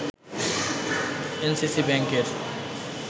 NCC ব্যাংকের